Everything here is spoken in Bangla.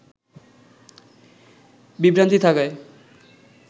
বিভ্রান্তি থাকায়